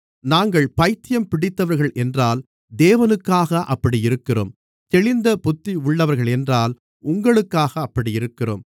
நாங்கள் பைத்தியம் பிடித்தவர்களென்றால் தேவனுக்காக அப்படியிருக்கிறோம் தெளிந்த புத்தியுள்ளவர்களென்றால் உங்களுக்காக அப்படியிருக்கிறோம்